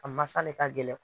A masa de ka gɛlɛn